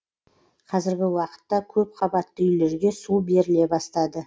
қазіргі уақытта көпқабатты үйлерге су беріле бастады